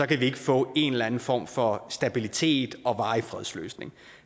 kan vi ikke få en eller anden form for stabilitet og varig fredsløsning